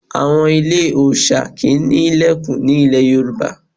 Àwọn ilé òòṣà kì í ní ilẹ̀kùn ní ilẹ̀ Yorùbá.